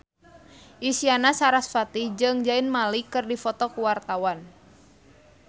Isyana Sarasvati jeung Zayn Malik keur dipoto ku wartawan